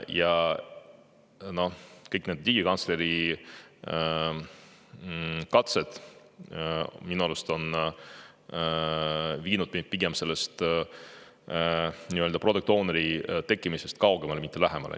Ja kõik need digikantsleri katsed minu arust on viinud meid pigem sellest product owner'i kaugemale, mitte lähemale.